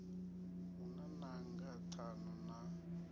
hu na nanga ṱhanu na